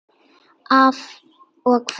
Af og frá!